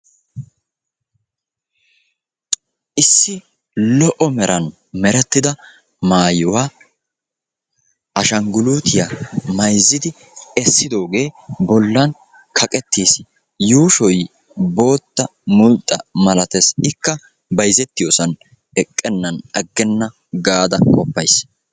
Issi lo"o meran merettida maayuwaa ashangguluutiyaa mayzzidi essidogaa bollan kaqqettiis, yuushoy bootta mulxxa malates ikka bayzzetiyoosan eqennan aggenna gaada qofays.